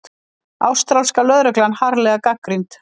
Ástralska lögreglan harðlega gagnrýnd